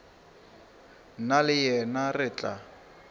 nna le yena re tla